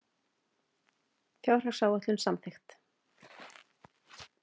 Fjárhagsáætlun samþykkt